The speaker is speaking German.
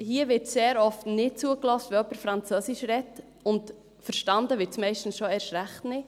Hier wird sehr oft nicht zugehört, wenn jemand französisch spricht, und verstanden wird es meistens schon erst recht nicht.